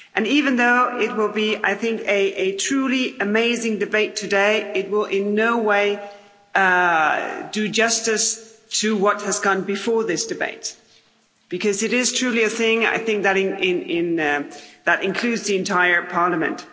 Even though it will be, I think, a truly amazing debate today, it will in no way do justice to what has gone before this debate, because it is truly a thing that includes the entire Parliament.